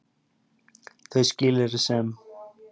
Þau skilyrði sem